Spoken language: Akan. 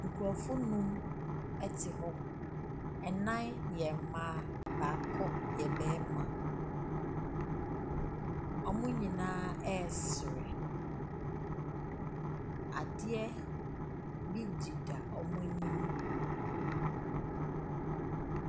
Nkrɔfoɔ anum te hɔ, anan yɛ mmaa, baako yɛ bɛma, ɔmo nyinaa ɛsere. Adeɛ bi deda wɔnmo anim.